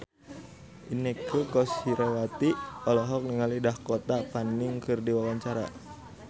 Inneke Koesherawati olohok ningali Dakota Fanning keur diwawancara